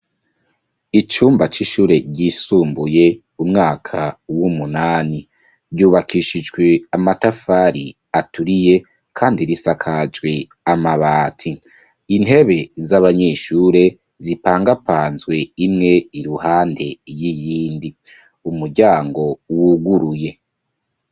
Icumba c'ishure ryisumbuye umwaka w'umunani. Ryubakishijwe amatafari aturiye kandi risakajwe amabati. Intebe z'abanyeshure zipangapanzwe imwe iruhande y'iyindi. umuyango wuguruye.